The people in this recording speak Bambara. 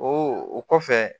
o kɔfɛ